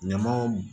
Ɲamaw